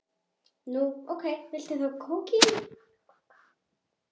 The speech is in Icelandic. Nú, ókei, viltu þá kókaín?